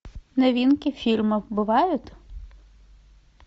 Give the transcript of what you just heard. новинки фильмов бывают